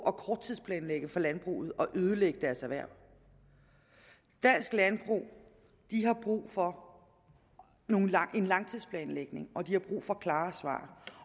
at korttidsplanlægge for landbruget og ødelægge deres erhverv dansk landbrug har brug for en langtidsplanlægning og de har brug for klare svar